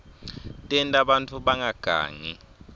tenta bantfu bangagangi